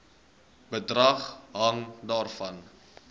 bedrag hang daarvan